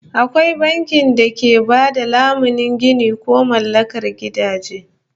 Akwai bankin da ke ba da lamunin ginin ko mallakar gidaje